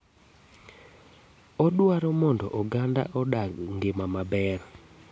Odwaro mondo oganda odag ngima amber.